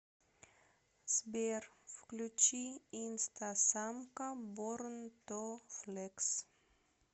сбер включи инстасамка борн ту флекс